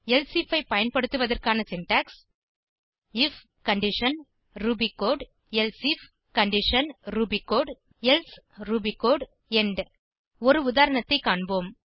elsif ஐ பயன்படுத்துவதற்கான syntax I F condition Ruby code elsif condition Ruby code else Ruby code end ஒரு உதாரணத்தை காண்போம்